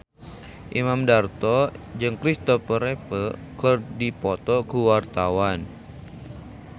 Imam Darto jeung Kristopher Reeve keur dipoto ku wartawan